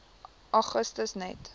augustus net